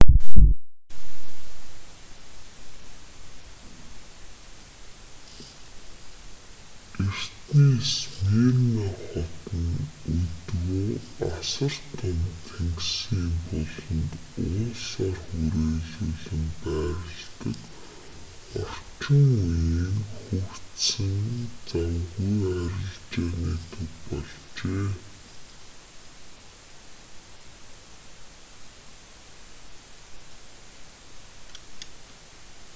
эртний смирна хот нь өдгөө асар том тэнгисийн буланд уулсаар хүрээлүүлэн байрладаг орчин үеийн хөгжсөн завгүй арилжааны төв болжээ